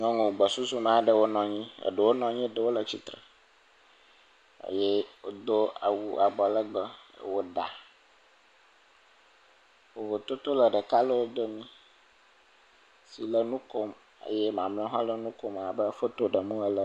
Nyɔnu agbɔsusu me aɖewo nɔ anyi, eɖewo nɔ anyi eye eɖewo le tsitre eye wodo awu abɔ legbe wɔ ɖa. Vovototo le ɖeka le wo domi si le nu kom eye mamleawo hã le nu kom abe foto ɖem wole ene.